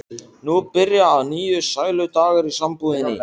Nú byrja að nýju sæludagar í sambúðinni.